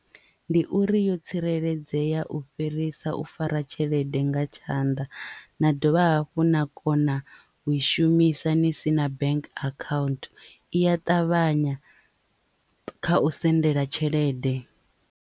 Ndi uri yo tsireledzea u fhirisa u fara tshelede nga tshanḓa na dovha hafhu na kona u i shumisa ni sina bank account i a ṱavhanya kha u sendela tshelede.